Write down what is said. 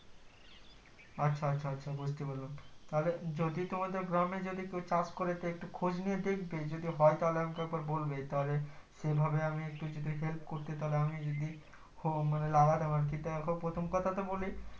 আচ্ছা আচ্ছা আচ্ছা বুজতে পারলাম তাহলে যদি তোমাদের গ্রামে যদি কেউ চাষ করে একটু খোঁজ নিয়ে দেখবে যদি হয় তাহলে আমাকে একবার বলবে তাহলে সে ভাবে আমি একটু যদি help করতে তাহলে আমি যদি লাগাতাম আরকি দেখো প্রথম কথা তে বলি